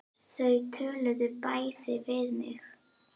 Þau töluðu bæði við mig.